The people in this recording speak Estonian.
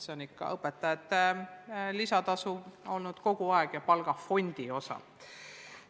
See on ikka õpetajate lisatasu olnud kogu aeg ja palgafondi osa.